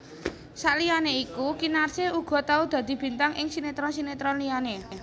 Saliyané iku Kinarsih uga tau dadi bintang ing sinetron sinetron liyané